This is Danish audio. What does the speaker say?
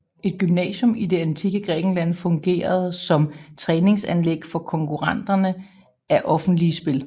Et Gymnasium i det antikke Grækenland fungerede som træningsanlæg for konkurrenterne af offentlige spil